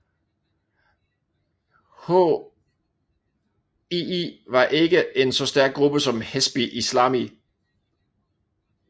HII var ikke en så stærk gruppe som Hezbi Islami